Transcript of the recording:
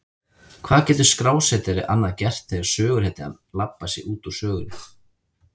Hvað getur skrásetjari annað gert þegar söguhetjan labbar sig út úr sögunni?